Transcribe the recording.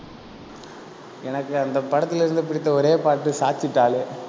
எனக்கு அந்த படத்துல இருந்து பிடித்த ஒரே பாட்டு சாச்சிட்டாலே